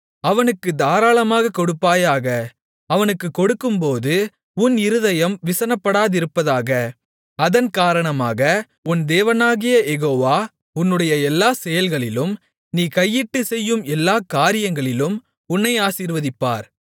அவனுக்குத் தாராளமாகக் கொடுப்பாயாக அவனுக்குக் கொடுக்கும்போது உன் இருதயம் விசனப்படாதிருப்பதாக அதன்காரணமாக உன் தேவனாகிய யெகோவா உன்னுடைய எல்லாக் செயல்களிலும் நீ கையிட்டுச் செய்யும் எல்லாக் காரியங்களிலும் உன்னை ஆசீர்வதிப்பார்